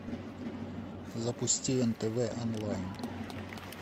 запусти нтв онлайн